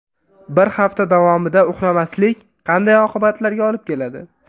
Bir hafta davomida uxlamaslik qanday oqibatlarga olib keladi?.